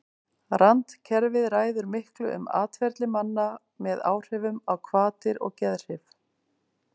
randkerfið ræður miklu um atferli manna með áhrifum á hvatir og geðhrif